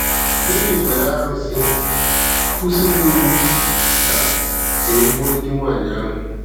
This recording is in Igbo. Devid mere arụsị, kwụsịrị iwu ka ka e gbue di nwanyị ahụ.